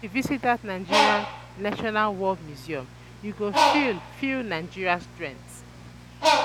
if you visit that Nigerian National War Museum, you go feel feel Nigeria strength